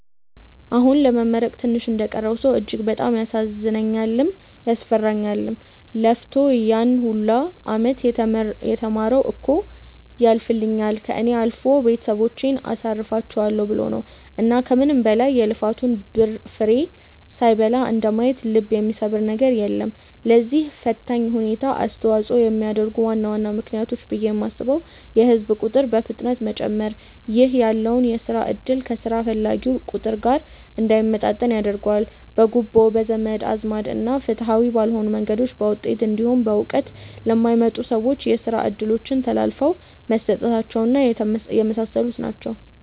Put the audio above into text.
አሁን ለመመረቅ ትንሽ እንደቀረው ሰው እጅግ በጣም ያሳዝነኛልም፤ ያስፈራኛልም። ለፍቶ ያን ሁላ አመት የተማረው እኮ ያልፍልኛል፣ ከእኔ አልፎ ቤተሰቦቼን አሳርፋቸዋለው ብሎ ነው። እና ከምንም በላይ የልፋቱን ፍሬ ሳይበላ እንደማየት ልብ የሚሰብር ነገር የለም። ለዚህ ፈታኝ ሁኔታ አስተዋጽኦ የሚያደርጉ ዋና ዋና ምክንያቶች ብዬ የማስበው የህዝብ ቁጥር በፍጥነት መጨመር ( ይህ ያለውን የስራ እድል ከስራ ፈላጊው ቁጥር ጋር እንዳይመጣጠን ያደርገዋል።) ፣ በጉቦ፣ በዘመድ አዝማድ እና ፍትሃዊ ባልሆኑ መንገዶች በውጤት እንዲሁም በእውቀት ለማይመጥኑ ሰዎች የስራ እድሎች ተላልፈው መሰጠታቸው እና የመሳሰሉት ናቸው።